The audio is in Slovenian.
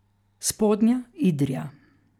Spodnja Idrija.